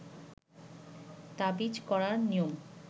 তাবিজ করার নিয়ম